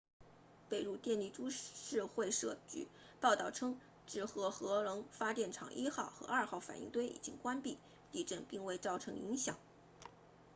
北陆电力株式会社报道称志贺核能发电厂1号和2号反应堆已经关闭地震并未造成影响